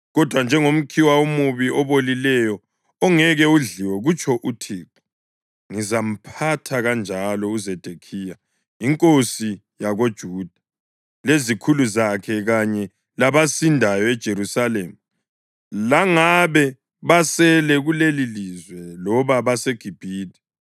Kodwa njengomkhiwa omubi, obolileyo ongeke udliwe,’ kutsho uThixo, ‘ngizamphatha kanjalo uZedekhiya inkosi yakoJuda, lezikhulu zakhe kanye labasindayo eJerusalema, langabe basele kulelilizwe loba baseGibhithe.